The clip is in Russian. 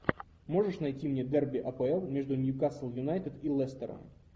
можешь найти мне дерби апл между ньюкасл юнайтед и лестером